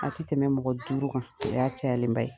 A tɛ tɛmɛ mɔgɔ duuru kan o y'a cayalen ba ye.